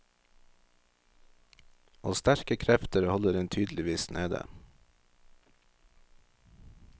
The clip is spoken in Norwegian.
Og sterke krefter holder den tydeligvis nede.